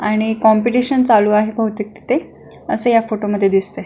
आणि कॉम्पिटिशन चालू आहे बहुतेक तिथे असे ह्या फोटोमध्ये दिसतय.